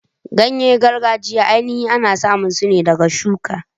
Ganye gargajiya ainihi ana samun su ne ɗaga shuka.